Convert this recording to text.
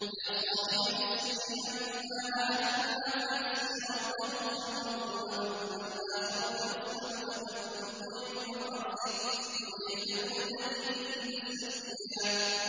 يَا صَاحِبَيِ السِّجْنِ أَمَّا أَحَدُكُمَا فَيَسْقِي رَبَّهُ خَمْرًا ۖ وَأَمَّا الْآخَرُ فَيُصْلَبُ فَتَأْكُلُ الطَّيْرُ مِن رَّأْسِهِ ۚ قُضِيَ الْأَمْرُ الَّذِي فِيهِ تَسْتَفْتِيَانِ